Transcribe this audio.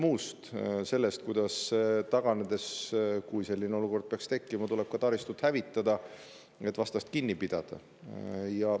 sellest, kuidas taganedes, kui selline olukord peaks tekkima, tuleb ka taristut hävitada, et vastast kinni pidada.